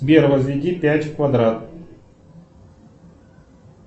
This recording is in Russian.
сбер возведи пять в квадрат